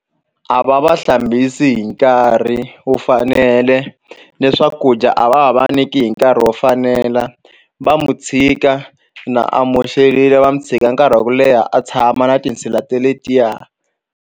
A va va hlambisi hi nkarhi wu fanele ni swakudya a va ha va niki hi nkarhi wo fanela va mu chika na a moxekile va mu tshika nkarhi wa ku leha a tshama na tinsila te letiya.